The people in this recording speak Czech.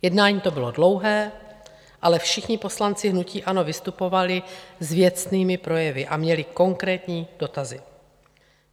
Jednání to bylo dlouhé, ale všichni poslanci hnutí ANO vystupovali s věcnými projevy a měli konkrétní dotazy.